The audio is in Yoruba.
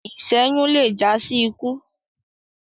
iṣẹyun lẹ já sí ikú